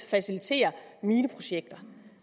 facilitere mineprojekter